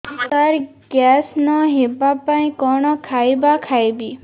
ସାର gas ନ ହେବା ପାଇଁ କଣ ଖାଇବା ଖାଇବି